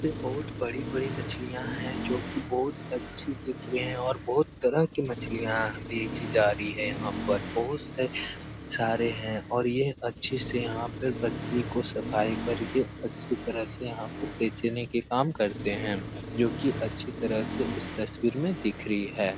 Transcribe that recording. यहाँ पे बहुत बड़ी-बड़ी मछलिया है । जो की बहुत अच्छी दिख रहे और बहुत तरह की मछलिया बेची जा रही है । यहाँ पर बहुत से सारे हैं और ये अच्छे से यहाँ पर मछलियों को सफाई करके अच्छी तरह से यहाँ पर बेचने के काम करते हैं जो कि अच्छी तरह से इस तस्वीर में दिख रही है ।